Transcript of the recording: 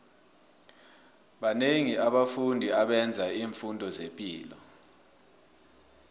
banengi abafundi abenzo imfundo zepilo